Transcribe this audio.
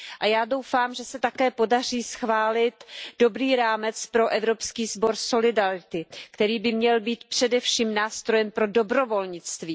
A já doufám, že se také podaří schválit dobrý rámec pro Evropský sbor solidarity, který by měl být především nástrojem pro dobrovolnictví.